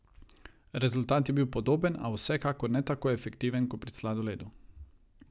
Rezultat je bil podoben, a vsekakor ne tako efektiven kot pri sladoledu.